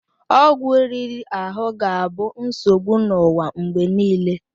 Ọgwụ riri ahụ ga-abụ nsogbu n'ụwa mgbe niile.